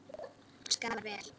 Hann skaffar vel.